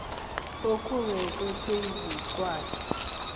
okubekwe phezu kwakhe